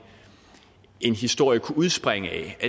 historie kunne udspringe af